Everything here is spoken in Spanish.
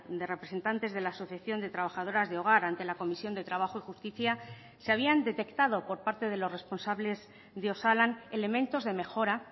de representantes de la asociación de trabajadoras de hogar ante la comisión de trabajo y justicia se habían detectado por parte de los responsables de osalan elementos de mejora